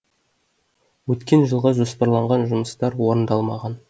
өткен жылға жоспарларған жұмыстар орындалмаған